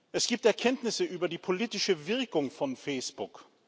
Es gibt Erkenntnisse über die politische Wirkung von Facebook.